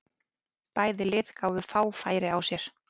Bæði lið gáfu fá færi á sér.